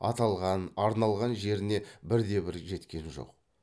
аталған арналған жеріне бірде бірі жеткен жоқ